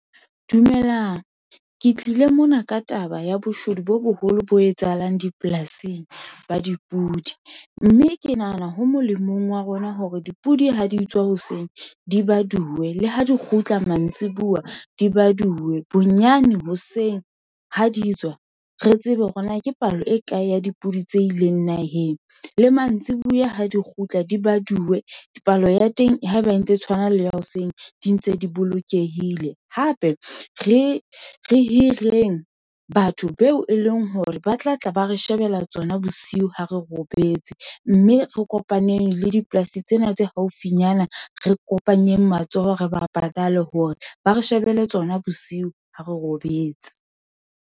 Dumelang. Ke tlile mona ka taba ya boshodu bo boholo bo etsahalang dipolasing ba dipudi. Mme ke nahana ho molemong wa rona hore dipudi ha di tswa hoseng di baduwe, le ha di kgutla mantsibuya di baduwe. Bonyane hoseng ha di tswa re tsebe hore na ke palo e kae ya dipudi tse ileng naheng? Le mantsibuya ha di kgutla di badume. Palo ya teng ha eba e ntse e tshwana le ya hoseng di ntse di bolokehile. Hape re hireng batho beo e leng hore ba tlatla ba re shebella tsona bosiu ha re robetse. Mme re kopaneng le dipolasi tsena tse haufinyana, re kopanyeng matsoho re ba patale hore ba re shebele tsona bosiu ha re robetse.